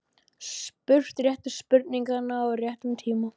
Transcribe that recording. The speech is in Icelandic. Spurt réttu spurninganna á réttum tíma.